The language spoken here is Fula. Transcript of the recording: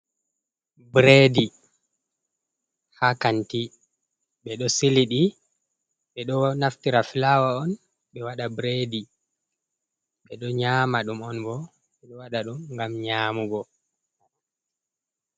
Bredi ha kanti, ɓe ɗo siliɗɗi ɓe ɗo naftira flawa on ɓe waɗa bredi, ɓe ɗo nyama ɗum on bo ɓe ɗo waɗa ɗum ngam nyamugo.